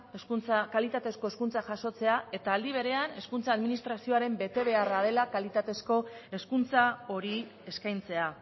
kalitatezko hezkuntza jasotzea eta aldi berean hezkuntza administrazioaren betebeharra dela kalitatezko hezkuntza hori eskaintzea